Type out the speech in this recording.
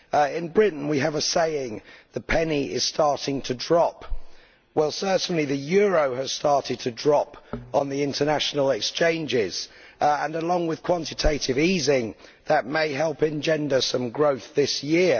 In Britain, we have a saying the penny is starting to drop' well, the euro has certainly started to drop on the international exchanges and, along with quantitative easing, that may help in generating some growth this year.